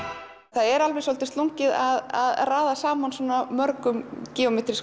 það er svolítið slungið að raða saman svona mörgum